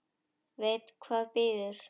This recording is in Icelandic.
Veit hvað bíður.